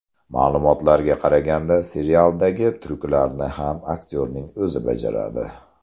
Ma’lumotlarga qaraganda serialdagi tryuklarni ham aktyorning o‘zi bajaradi.